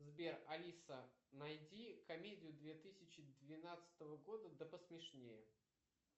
сбер алиса найди комедию две тысячи двенадцатого года да посмешнее